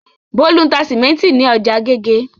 Bólú ń ta sìmẹ́ńtì ní ọjà Agége.